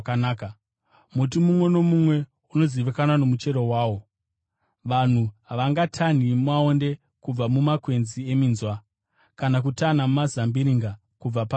Muti mumwe nomumwe unozivikanwa nomuchero wawo. Vanhu havangatanhi maonde kubva mumakwenzi eminzwa, kana kutanha mazambiringa kubva parukato.